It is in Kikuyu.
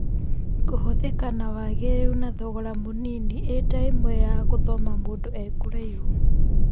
Kũhũthĩka na wagĩrĩru na thogora mĩnini eta ĩmwe ya gũthoma mũndũ ekũraihu.